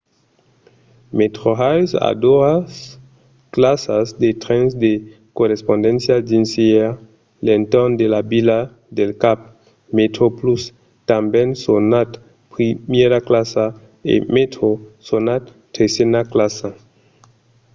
metrorail a doas classas de trens de correspondéncia dins e a l'entorn de la vila del cap: metroplus tanben sonat primièra classa e metro sonat tresena classa